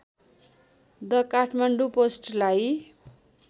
the Kathmandu पोस्टलाई